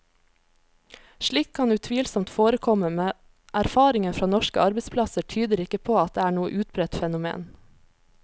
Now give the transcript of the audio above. Slikt kan utvilsomt forekomme, men erfaringen fra norske arbeidsplasser tyder ikke på at det er noe utbredt fenomen.